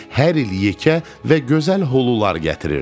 Hər il yekə və gözəl hulular gətirirdi.